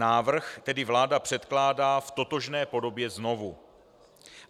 Návrh tedy vláda předkládá v totožné podobě znovu.